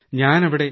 ഞാൻ അവിടെ